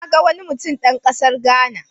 Na ga wani mutum dan kasar Ghana.